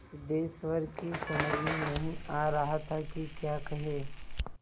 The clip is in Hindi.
सिद्धेश्वर की समझ में नहीं आ रहा था कि क्या कहे